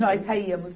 Nós saímos.